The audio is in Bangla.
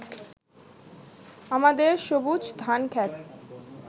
আমাদের সবুজ ধানক্ষেত